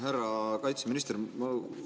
Härra kaitseminister!